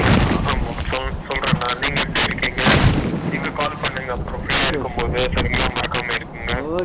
ஆஹ சொல்ட்றேங்கன்னா நீங்க எப்படி இருக்கீங்க நீங்க call பண்ணுங்க அப்பறமா free யா இருக்கும் போது சரிங்களா மறக்காம